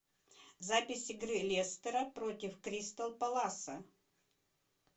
запись игры лестера против кристал пэласа